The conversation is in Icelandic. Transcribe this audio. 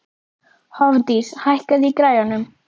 Hofdís, hækkaðu í græjunum.